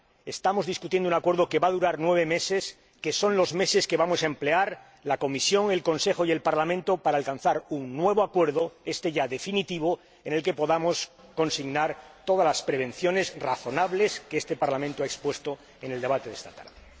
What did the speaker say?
Estamos debatiendo un acuerdo que va a durar nueve meses, que son los meses que vamos a emplear la Comisión, el Consejo y el Parlamento en alcanzar un nuevo acuerdo —éste ya definitivo— en el que podamos consignar todas las prevenciones razonables que este Parlamento ha expuesto en el debate de esta tarde.